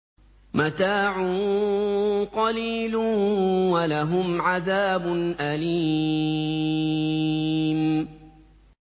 مَتَاعٌ قَلِيلٌ وَلَهُمْ عَذَابٌ أَلِيمٌ